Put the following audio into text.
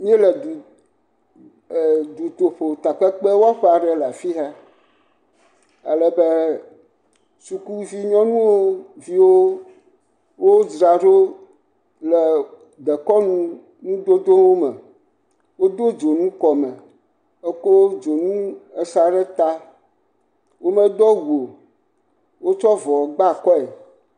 míele dutoƒo takpekpewɔƒe aɖe le afia alebe sukuvi nyɔnuviwo dzraɖo le dekɔnu nudodowo me wode dzonu kɔme ekɔ dzonu sa ɖe eta womedo awu o wotsɔ avɔ gba akɔe